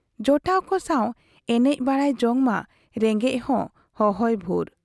ᱡᱚᱴᱟᱣ ᱠᱚ ᱥᱟᱶ ᱮᱱᱮᱡ ᱵᱟᱰᱟᱭ ᱡᱚᱝ ᱢᱟ ᱨᱮᱸᱜᱮᱡ ᱦᱚᱸ ᱦᱚᱦᱚᱭ ᱵᱷᱩᱨ ᱾